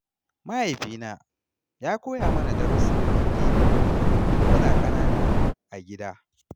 Mahaifina ya koya mana darussan addini tun muna ƙanana a gida.